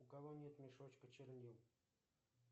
у кого нет мешочка чернил